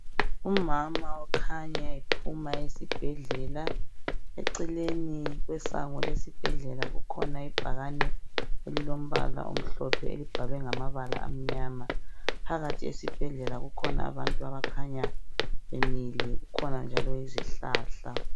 Umama okhanya ephuma esibhedlela, eceleni kwesango lesibhedlela kukhona ibhakane elilombala omhlophe elibhalwe ngamabala amnyama. Phakathi esibhedlela kukhona abantu abakhanya bemile kukhona njalo izihlahla.